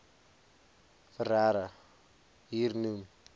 frere hier noem